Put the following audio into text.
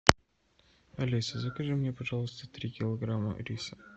алиса закажи мне пожалуйста три килограмма риса